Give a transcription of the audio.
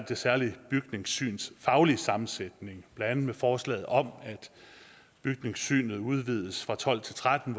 det særlige bygningssyns faglige sammensætning blandt andet med forslaget om at bygningssynet udvides fra tolv til tretten